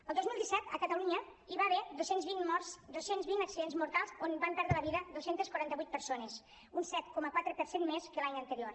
el dos mil disset a catalunya hi va haver dos cents i vint morts dos cents i vint accidents mortals on van perdre la vida dos cents i quaranta vuit persones un set coma quatre per cent més que l’any anterior